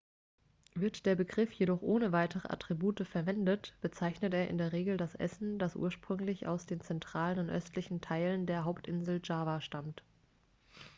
wird der begriff jedoch ohne weitere attribute verwendet bezeichnet er in der regel das essen das ursprünglich aus den zentralen und östlichen teilen der hauptinsel java stammt